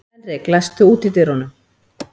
Henrik, læstu útidyrunum.